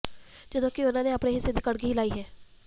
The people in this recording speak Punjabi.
ਜਦੋਂ ਕਿ ਉਨ੍ਹਾਂ ਨੇ ਆਪਣੇ ਹਿੱਸੇ ਦੀ ਕਣਕ ਹੀ ਲਈ ਹੈ